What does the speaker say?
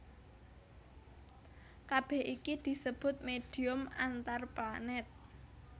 Kabèh iki disebut médhium antarplanèt